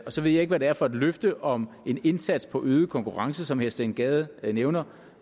så ved jeg ikke hvad det er for et løfte om en indsats for øget konkurrenceevne steen gade nævner